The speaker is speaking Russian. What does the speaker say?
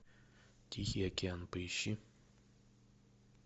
тихий океан поищи